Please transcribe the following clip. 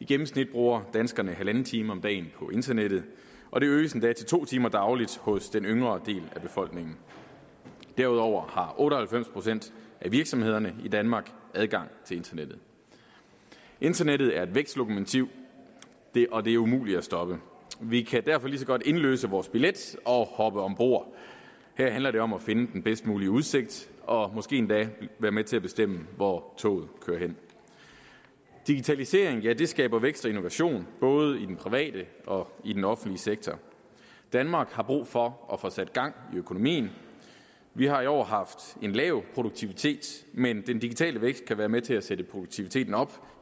i gennemsnit bruger danskerne en en halv time om dagen på internettet og det øges endda til to timer dagligt hos den yngre del af befolkningen derudover har otte og halvfems procent af virksomhederne i danmark adgang til internettet internettet er vækstlokomotiv og det er umuligt at stoppe vi kan derfor lige så godt indløse vores billet og hoppe ombord her handler det om at finde den bedst mulige udsigt og måske endda være med til at bestemme hvor toget kører hen digitaliseringen skaber vækst og innovation både i den private og i den offentlige sektor danmark har brug for at få sat gang i økonomien vi har i år haft en lav produktivitet men den digitale vækst kan være med til at sætte produktiviteten op